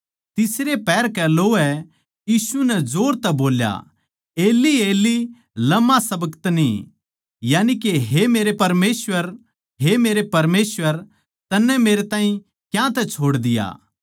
तीसरै पहर कै लोवै यीशु नै जोर तै बोल्या एली एली लमा शबक्तनी यानिके हे मेरे परमेसवर हे मेरे परमेसवर तन्नै मेरै ताहीं क्यांतै छोड़ दिया